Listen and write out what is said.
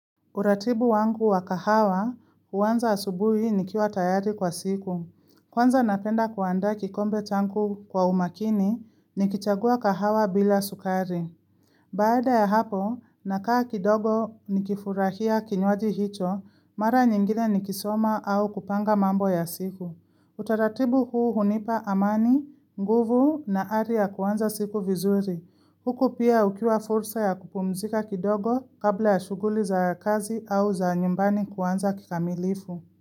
Uratibu wangu wa kahawa, uanza asubui ni kiwa tayari kwa siku. Kwanza napenda kuandaa kikombe changu kwa umakini, ni kichagua kahawa bila sukari. Baada ya hapo, nakaa kidogo ni kifurahia kinywaji hicho, mara nyingine ni kisoma au kupanga mambo ya siku. Utaratibu huu hunipa amani, nguvu na aria kuwanza siku vizuri. Huko pia ukiwa fursa ya kupumzika kidogo kabla ya shuguli za kazi au za nyumbani kuanza kikamilifu.